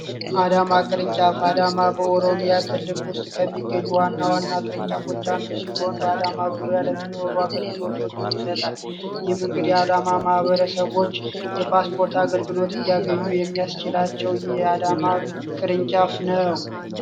አዳማ ቅርንጫፍ የኢትዮጵያ ከሚገኙ ዋና ዋና ፃፎቹ ውስጥ አንዱ ሲሆን በአዳማ ዙሪያ ለሚኖሩ አገልግሎቶችን ይሰጣል እንግዲ የአዳማ ማህበረሰቦች የፓስፖርት አገልግሎት እንዲያገኙ የሚያስችላቸው የአዳማ ቅርንጫፍ ነው።